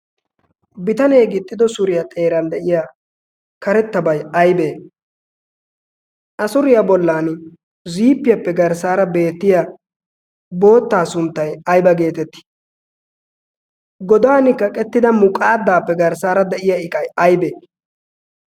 Bitanee gixxido suuriyaa de'iyaa karettabay aybee? a suuriyaa bollaan ziippiyaappe garssara boottaa sunttay boottaa sunttay ayba getteetti? goddaan kaqqettida muqqaadappe garssaara de'iyaa iqay aybee?